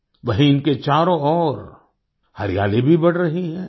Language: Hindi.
वहीँ इनके चारों ओर हरियाली भी बढ़ रही है